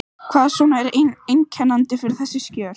Hvað svona er einkennandi fyrir þessi skjöl?